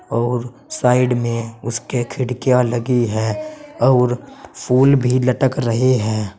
और साइड में उसके खिड़कियां लगी है और फूल भी लटक रहे हैं।